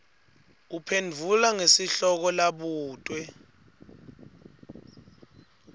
uphendvula ngesihloko labutwe